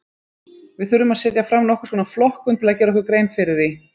Við þurfum að setja fram nokkurs konar flokkun til að gera okkur grein fyrir því.